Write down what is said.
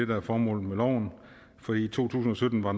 der er formålet med loven i to tusind og sytten var